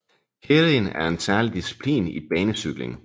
Keirin er særlig disciplin i banecykling